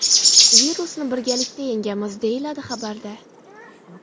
Virusni birgalikda yengamiz!”, deyiladi xabarda.